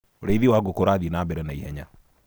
ũrĩithi wa ngũkũ urathie nambere naihenya